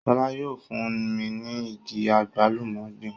Sọlá yóò fún mi ní igi àgbálùmọ́ gbìn